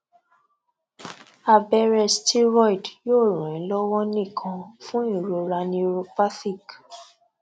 abẹrẹ steroid yoo ran e lọwọ nikan fun irora neuropathic